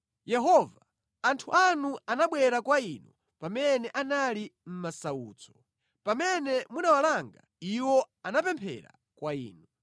Yehova, anthu anu anabwera kwa Inu pamene anali mʼmasautso; pamene munawalanga, iwo anapemphera kwa Inu.